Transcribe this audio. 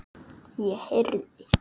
Ég heyrði